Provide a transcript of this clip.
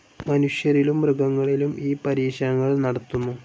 മനുഷ്യരിലും മൃഗങ്ങളിലും ഈ പരീക്ഷണങ്ങൾ നടത്തുന്നു.